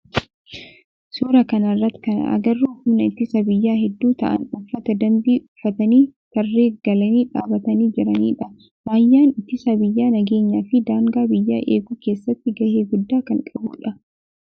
Suuraa kana irratti kan agarru humna ittisa biyyaa heddu ta'aan uffata dambii uffatanii tarree galanii dhaabatanii jiranidha. Raayyaan ittisa biyyaa nageenyaa fi daangaa biyyaa eeguu keessatti gahee guddaa kan qabudha